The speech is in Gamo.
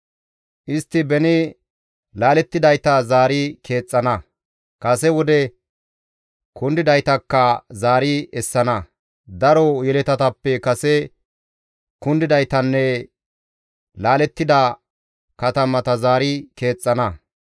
Istti beni laalettidayta zaari keexxana; kase wode kundidaytakka zaari essana; daro yeletatappe kase kundidaytanne laalettida katamata zaari keexxana.